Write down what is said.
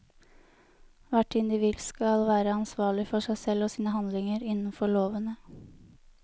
Hvert individ skal være ansvarlig for seg selv og sine handlinger innenfor lovene.